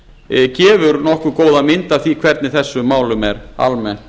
úrtak gefur nokkuð góða mynd af því hvernig þessum málum er almennt